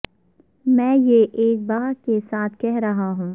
میں یہ ایک بہہ کے ساتھ کہہ رہا ہوں